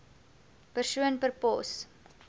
persoon per pos